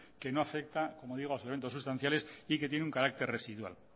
que no afecta como digo a los elementos sustanciales y que tiene un carácter residual